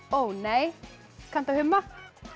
ó nei kanntu að humma